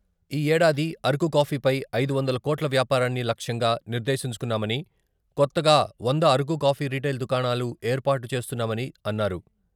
ఈ ఏడాది అరకు కాఫీపై ఐదు వందల కోట్ల వ్యాపారాన్ని లక్ష్యంగా నిర్దేశించుకున్నామని, కొత్తగా వంద అరకు కాఫీ రిటైల్ దుకాణాలు ఏర్పాటు చేస్తున్నామని అన్నారు.